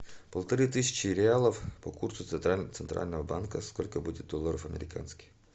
полторы тысячи реалов по курсу центрального банка сколько будет долларов американских